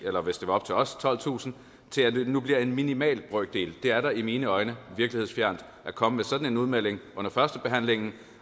eller hvis det var op til os tolvtusind til at det nu bliver en minimal brøkdel det er da i mine øjne virkelighedsfjernt at komme med sådan en udmelding under førstebehandlingen